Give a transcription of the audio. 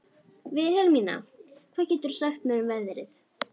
Vilhelmína, hvað geturðu sagt mér um veðrið?